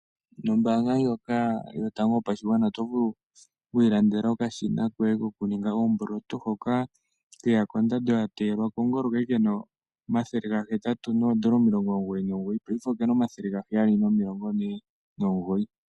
Nombaanga ndjoka yotango yopashigwana oto vulu okwiilandela okashina koye kokuninga oomboloto, hoka keya kondando yateyelwa kongolo. Ka li ke na omathele 899, paife oke na 749.